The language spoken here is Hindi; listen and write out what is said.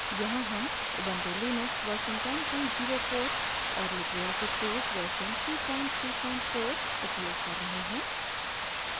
यहाँ हम ubuntu लिनक्स version 1004 और लिबरे ऑफिस suite version 334 उपयोग कर रहे हैं